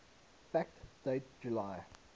fact date july